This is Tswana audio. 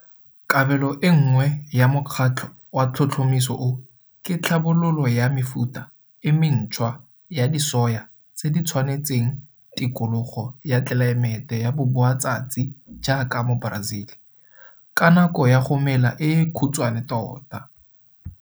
Kabelo e nngwe ya mokgatlho wa tlhotlhomiso o ke tlhabololo ya mefuta e mentshwa ya disoya tse di tshwanetseng tikologo ya tlelaemete ya boboatsatsi jaaka mo Brazil, ka nako ya go mela e khutswane tota.